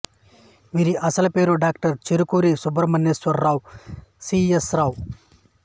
వీరి అసలు పేరు doctor Cherukuri Subrahmanyeswara Rao C S రావు